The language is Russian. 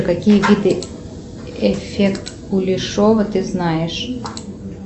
какие виды эффект кулешова ты знаешь